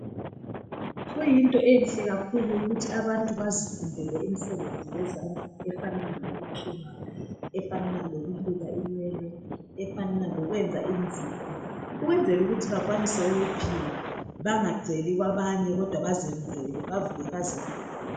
Kuyinto enhle kakhulu ukuthi abantu bazifundele imisebenzi yezandla efanana lokuthunga , efanana lokuluka inwele, efanana lokwenza inzipho ukwenzela ukuthi bakwanise ukuphila bangaceli kwabanye kodwa bazenzele . Bavuke bazenzele.